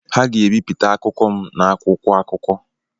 Ha ga-ebipụta akụkọ m n’akwụkwọ akuko